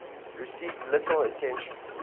received little attention